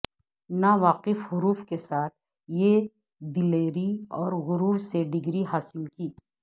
نا واقف حروف کے ساتھ یہ دلیری اور غرور سے ڈگری حاصل کی